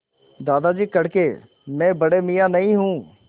दादाजी कड़के मैं बड़े मियाँ नहीं हूँ